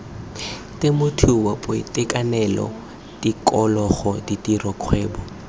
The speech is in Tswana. temothuo boitekanelo tikologo ditiro kgwebo